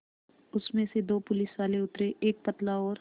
उसमें से दो पुलिसवाले उतरे एक पतला और